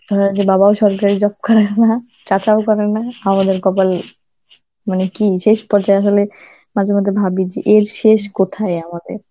ধরেনি বাবাও সরকারি job করে না, চাচাও করে না, আমাদের কপাল মানে কি শেষ পর্যায়ে হলে, মাঝেমধ্যে ভাবি যে এর শেষ কোথায় আমাদের?